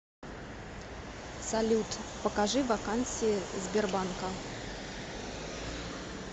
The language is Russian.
салют покажи вакансии сбербанка